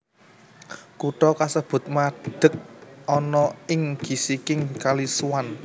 Kutha kasebut madeg ana ing gisiking Kali Swan